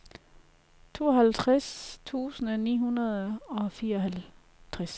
tooghalvtreds tusind ni hundrede og fireoghalvtreds